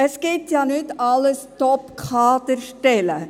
Es gibt ja nicht nur Top-Kaderstellen.